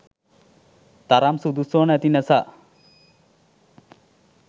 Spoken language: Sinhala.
තරම් සුදුස්සො නැති නැසා.